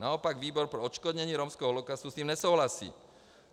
Naopak výbor pro odškodnění romského holokaustu s tím nesouhlasí.